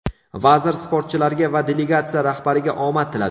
Vazir sportchilarga va delegatsiya rahbariga omad tiladi.